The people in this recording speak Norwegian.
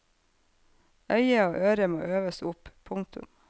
Øyet og øret må øves opp. punktum